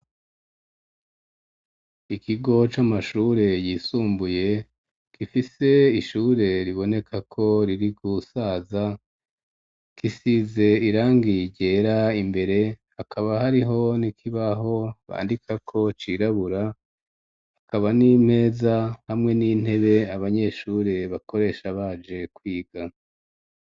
Ikigo c'amashure yisumbuye gifise ishure riboneka ko riri gusaza kisize irangi ryera imbere hakaba hariho n'ikibaho bandika ko cirabura hakaba n'imeza hamwe n'intebe abanyeshure bakoresha baje kwiga.